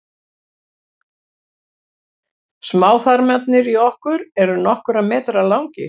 smáþarmarnir í okkur eru nokkurra metra langir